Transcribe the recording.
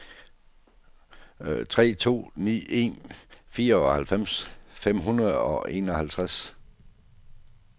tre to ni en fireoghalvfems fem hundrede og enoghalvtreds